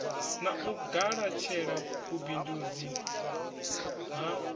na u galatshela vhubindundzi ha